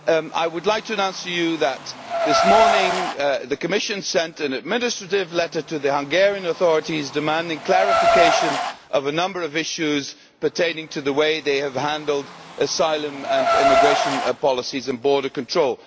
I would like to announce to you that this morning the Commission sent an administrative letter to the Hungarian authorities demanding clarification on a number of issues pertaining to the way they have handled asylum and immigration policies and border control.